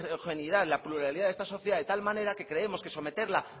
homogeneidad la pluralidad de esta sociedad de tal manera que creemos que someterla